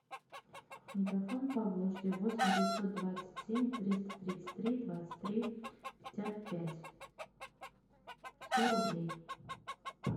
мегафон поволжье восемь девятьсот двадцать семь триста тридцать три двадцать три пятьдесят пять сто рублей